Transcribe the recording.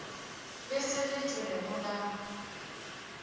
le se le tšhwego la